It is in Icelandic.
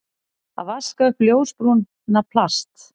Að vaska upp ljósbrúna plast